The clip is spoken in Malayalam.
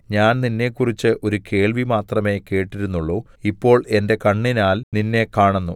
ഞാൻ നിന്നെക്കുറിച്ച് ഒരു കേൾവി മാത്രമേ കേട്ടിരുന്നുള്ളു ഇപ്പോൾ എന്റെ കണ്ണിനാൽ നിന്നെ കാണുന്നു